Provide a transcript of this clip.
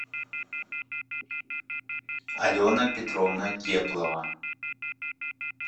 алена петровна теплова